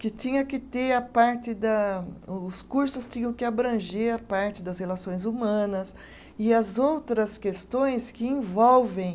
Que tinha que ter a parte da, o os cursos tinham que abranger a parte das relações humanas e as outras questões que envolvem